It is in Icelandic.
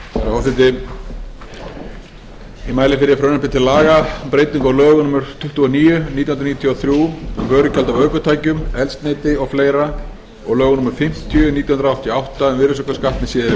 forseti ég mæli fyrir frumvarpi til laga um breytingu á lögum númer tuttugu og níu nítján hundruð níutíu og þrjú um vörugjald af ökutækjum eldsneyti og fleira og lögum númer fimmtíu nítján hundruð áttatíu og átta um virðisaukaskatt með síðari